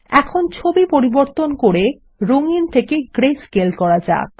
এখন ছবি পরিবর্তন করে রঙিন থেকে গ্রেস্কেল করা যাক